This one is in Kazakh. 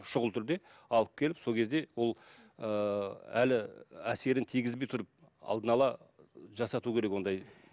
шұғыл түрде алып келіп сол кезде ол ыыы әлі әсерін тигізбей тұрып алдын ала жасату керек ондай